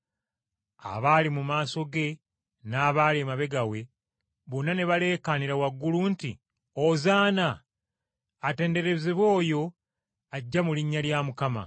Abaali mu maaso ge n’abaali emabega we, bonna ne baleekaanira waggulu nti: “Ozaana!” “Atenderezebwe oyo ajja mu linnya lya Mukama! ”